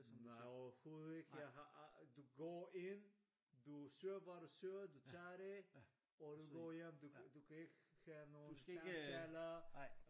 Nej overhoved ikke jeg har aldrig du går ind du søger hvad du søger du tager det og du går hjem du kan du kan ikke have nogen samtaler